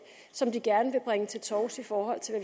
som de gerne vil bringe til torvs i forhold til